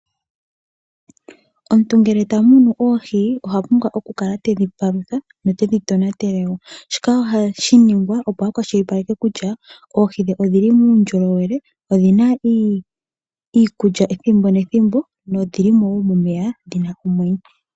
Omuntu ngele tamunu oohi, ohapumbwa okukala tedhi palutha ye tedhi tonatele wo. Shika ohashi ningwa opo akwashilipaleke kutya oohi odhili muundjolowele, odhina iikulya ethimbo nethimbo, nodhili wo momeya dhina omwenyo.